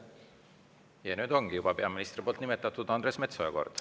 Ja nüüd ongi juba peaministri nimetatud Andres Metsoja kord.